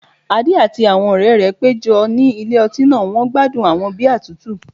Adé àti àwọn ọ̀rẹ́ rẹ̀ péjọ ní ilé ọtí náà wọ́n gbádùn àwọn bíà tútù